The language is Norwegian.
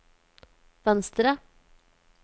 venstre